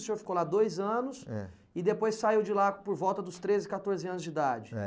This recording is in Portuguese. O senhor ficou lá dois anos é, e depois saiu de lá por volta dos treze, quatorze anos de idade. É.